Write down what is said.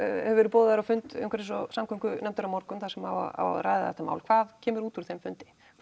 verið boðaður á fund umhverfis og samgöngunefndar á morgun þar sem á að ræða þetta mál hvað kemur út úr þeim fundi